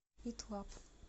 ит лаб